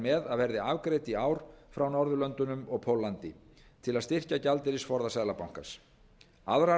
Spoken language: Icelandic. með að verði afgreidd í ár frá norðurlöndunum og póllandi til að styrkja gjaldeyrisforða seðlabankans aðrar